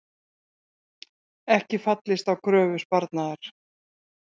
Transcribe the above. Ekki fallist á kröfu Sparnaðar